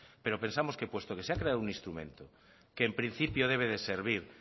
pero pensamos que puesto que se ha creado un instrumento que en principio debe de servir